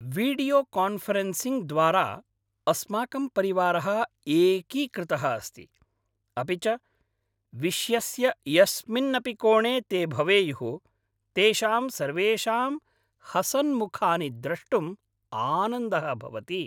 वीडियोकान्फ़रेन्सिङ्ग्द्वारा अस्माकं परिवारः एकीकृतः अस्ति, अपि च विश्यस्य यस्मिन्नपि कोणे ते भवेयुः तेषां सर्वेषां हसन्मुखानि द्रष्टुं आनन्दः भवति।